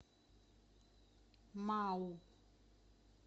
мау